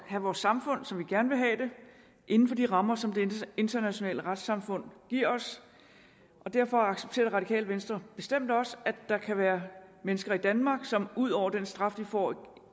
have vores samfund som vi gerne vil have det inden for de rammer som det internationale retssamfund giver os derfor accepterer det radikale venstre bestemt også at der kan være mennesker i danmark som ud over den straf de får